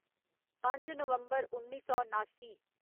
पंज नवम्बर उन्नी सौ नासी